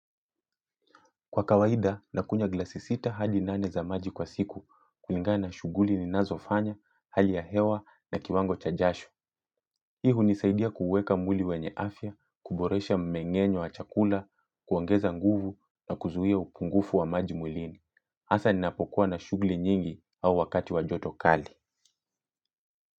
Kwa kawaida, nakunywa glasi sita hadi nane za maji kwa siku kulingana na shughuli ninazofanya, hali ya hewa na kiwango cha jasho. Hii hunisaidia kuweka mwili wenye afya, kuboresha mmengenyo wa chakula, kuongeza nguvu na kuzuia upungufu wa maji mwilini. Hasa ninapokuwa na shughuli nyingi au wakati wa joto kali.